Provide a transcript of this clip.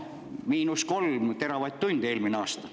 Eelmisel aastal jäi puudu 3 teravatt‑tundi.